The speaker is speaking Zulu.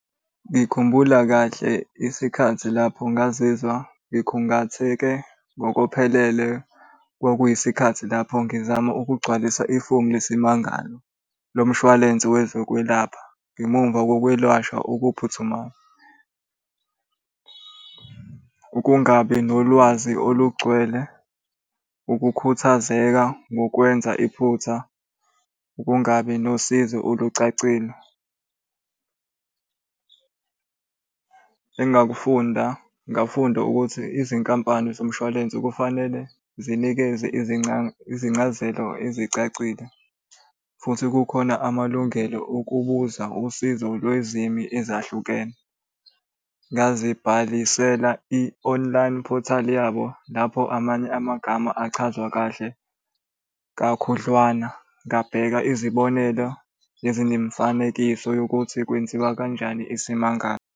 Ngikhumbula kahle isikhathi lapho ngazizwa ngikhungatheke ngokuphelele kwakuyisikhathi lapho ngizama ukugcwalisa ifomu lesimangalo lo mshwalense wezokwelapha ngemuva kokwelashwa okuphuthumayo. Ukungabi nolwazi olugcwele, ukukhuthazeka ngokwenza iphutha, ukungabi nosizo olucacile. Engakufunda, ngafunda ukuthi izinkampani zomshwalense kufanele zinikeze izincazelo ezicacile, futhi kukhona amalungelo okubuza usizo lwezilimi ezahlukene. Ngazibhalisela i-online portal yabo lapho amanye amagama achazwa kahle kakhudlwana. Ngabheka izibonelo ezinemifanekiso yokuthi kwenziwa kanjani isimangalo.